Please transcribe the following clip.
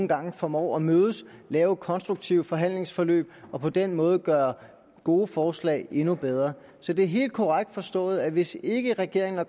gange formår at mødes og lave konstruktive forhandlingsforløb og på den måde gøre gode forslag endnu bedre så det er helt korrekt forstået at hvis ikke regeringen og